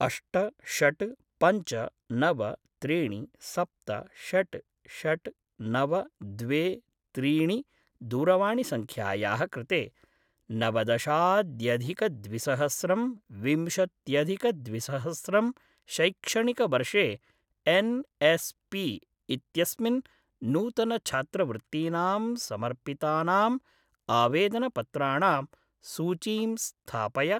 अष्ट षट् पञ्च नव त्रीणि सप्त षट् षट् नव द्वे त्रीणि दूरवाणिसङ्ख्यायाः कृते नवदशाद्यदिकद्विसहस्रं विंशत्यदिकद्विसहस्रं शैक्षणिकवर्षे एन् एस् पी इत्यस्मिन् नूतनछात्रवृत्तीनां समर्पितानाम् आवेदनपत्राणां सूचीं स्थापय